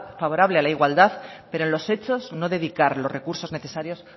favorable a la igualdad pero en los hechos no dedicar los recursos necesarios